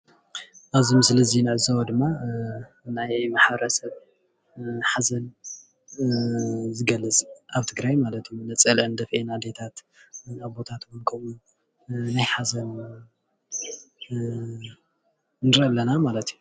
አብዚ ምስሊ እዚ እንዕዘቦ ድማ ናይ ማሕበረ ሰብ ሓዘን ዝገልፅ ኣብ ትግራይ ማለት እውን ነፀለአን ደፊኤ ኣዴታት ኣቦታት እውን ከምኡ ናይ ሓዘን ንርኢ ኣለና ማለት እዩ፡፡